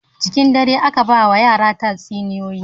Cikin dare aka ba wa yara tatsuniyoyi.